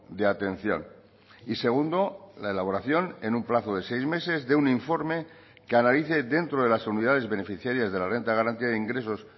de atención y segundo la elaboración en un plazo de seis meses de un informe que analice dentro de las unidades beneficiarias de la renta de garantía de ingresos